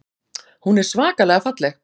Hún er svakalega falleg.